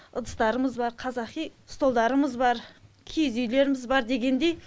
ыдыстарымыз бар қазақи столдарымыз бар киіз үйлеріміз бар дегендей